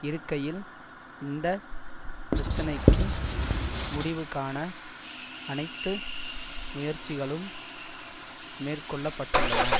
இருக்கையில் இந்த பிரச்சனைக்கு முடிவு காண அனைத்து முயற்சிகளும் மேற்கொள்ள பட்டுள்ளன